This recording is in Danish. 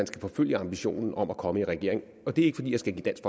skal forfølge ambitionen om at komme i regering og det er ikke fordi jeg skal give dansk